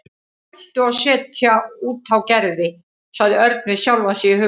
Hættu að setja út á Gerði sagði Örn við sjálfan sig í huganum.